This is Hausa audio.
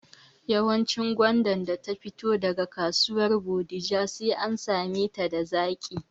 Yawancin gwanda da ta fito daga kasuwar Bodija sai an same ta da zaƙi